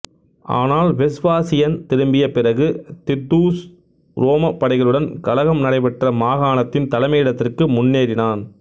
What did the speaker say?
ஆனால் வெஸ்பாசியன் திரும்பிய பிறகு தித்தூஸ் உரோம படைகளுடன் கலகம் நடைபெற்ற மாகாணத்தின் தலைமையிடத்திற்கு முன்னேறினான்